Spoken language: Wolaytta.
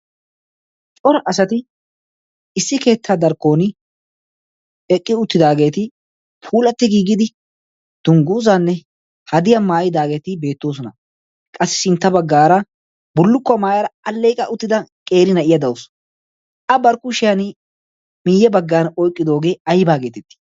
cora asati issi keettaa darkkon eqqi uttidaageeti puulatti giigidi tungguuzaanne hadiyaa maayidaageeti beettoosona. qassi sintta baggaara burlukkuwaa maayaara alleiqa uttida qeeri na' iya da' usu a barkkushiyan miiyye baggan oiqqidoogee aibaageetettii?